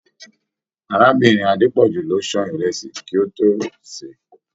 Arábìnrin Adepoju ló sàn ìrẹsì kí o to ṣe.